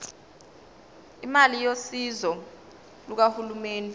imali yosizo lukahulumeni